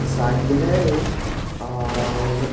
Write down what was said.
cycle है ये और--